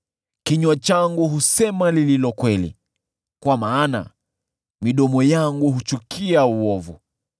Kinywa changu husema lililo kweli, kwa maana midomo yangu huchukia uovu.